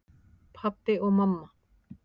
Pabbi og mamma